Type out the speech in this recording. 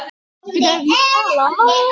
Borga bankar þennan skatt?